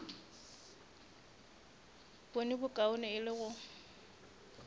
bone bokaone e le go